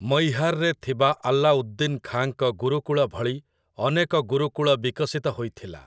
ମୈହାରରେ ଥିବା ଆଲ୍ଲାଉଦ୍ଦିନ୍ ଖାଁଙ୍କ ଗୁରୁକୁଳ ଭଳି ଅନେକ ଗୁରୁକୁଳ ବିକଶିତ ହୋଇଥିଲା ।